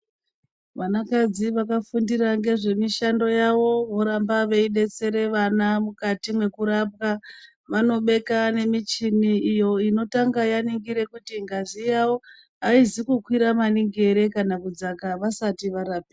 Vanakadzi vakafundira ngezvemishando yavo vanoramba veidetsera vana mukati nwekurapa vanobeka nemichini iyo inotanga yoringira kuti ngazi yavo aizi kukwira maningi here kana kudzaka vasati varapa.